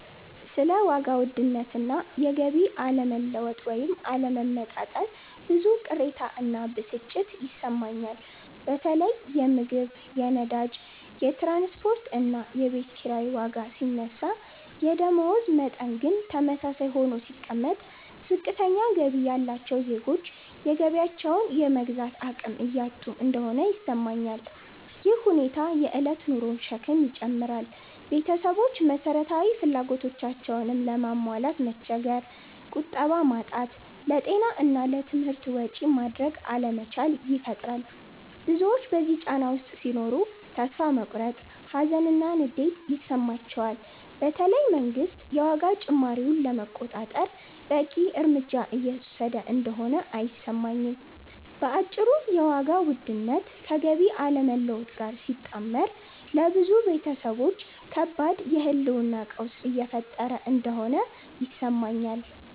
ስለ ዋጋ ውድነት እና የገቢ አለመለወጥ (ወይም አለመመጣጠን) ብዙ ቅሬታ እና ብስጭት ይሰማኛል። በተለይ የምግብ፣ የነዳጅ፣ የትራንስፖርት እና የቤት ኪራይ ዋጋ ሲነሳ የደመወዝ መጠን ግን ተመሳሳይ ሆኖ ሲቀመጥ፣ ዝቅተኛ ገቢ ያላቸው ዜጎች የገቢያቸውን የመግዛት አቅም እያጡ እንደሆነ ይሰማኛል። ይህ ሁኔታ የእለት ኑሮን ሸክም ይጨምራል – ቤተሰቦች መሰረታዊ ፍላጎቶቻቸውንም ለማሟላት መቸገር፣ ቁጠባ ማጣት፣ ለጤና እና ለትምህርት ወጪ ማድረግ አለመቻል ይፈጥራል። ብዙዎች በዚህ ጫና ውስጥ ሲኖሩ ተስፋ መቁረጥ፣ ሀዘን እና ንዴት ይሰማቸዋል፤ በተለይ መንግስት የዋጋ ጭማሪውን ለመቆጣጠር በቂ እርምጃ እየወሰደ እንደሆነ አይሰማኝም። በአጭሩ የዋጋ ውድነት ከገቢ አለመለወጥ ጋር ሲጣመር ለብዙ ቤተሰቦች ከባድ የህልውና ቀውስ እየፈጠረ እንደሆነ ይሰማኛል።